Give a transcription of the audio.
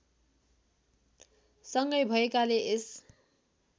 सँगै भएकाले यस